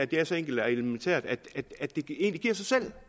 det er så enkelt og elementært at det egentlig giver sig selv